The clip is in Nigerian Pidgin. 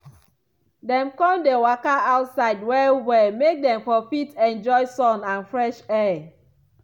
dem con dey waka outside well well make dem for fit enjoy sun and fresh air.